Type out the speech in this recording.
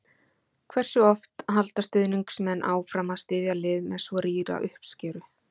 Hversu oft halda stuðningsmenn áfram að styðja lið með svo rýra uppskeru?